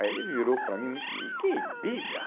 Aí ele virou para mim, que Bíblia?